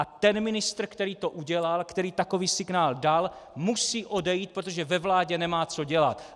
A ten ministr, který to udělal, který takový signál dal, musí odejít, protože ve vládě nemá co dělat.